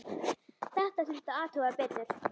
Þetta þurfti að athuga betur.